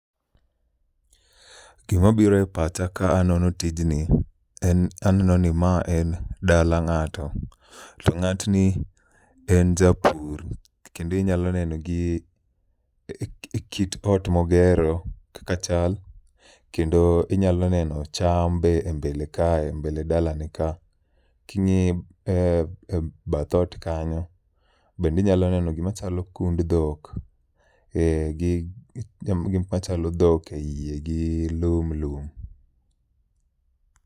Gima biro e pacha ka anono tijni en aneno ni ma en dala ng'ato, to ng'atni en japur. Kendi nyalo neno gi kit ot mogero kaka chal, kendo inyalo neno cham be e mbele kae mbele dala ne ka. King'i e e bath ot kanyo, bendinyalo neno gima chalo kund dhok. E, gi gik machalo dhok e iye gi lum lum.